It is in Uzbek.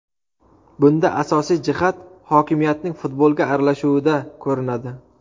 Bunda asosiy jihat hokimiyatning futbolga aralashuvida ko‘rinadi.